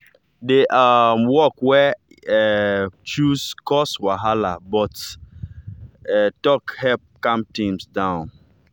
the um work wey e um choose cause wahala but talk help calm things down.